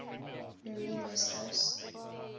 marine west coast